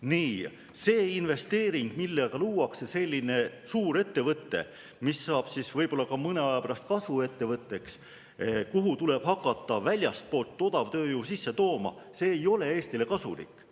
Niisugune investeering, millega luuakse selline suur ettevõte, mis saab siis võib-olla ka mõne aja pärast kasvuettevõtteks, kuhu tuleb hakata väljastpoolt odavtööjõudu sisse tooma, ei ole Eestile kasulik.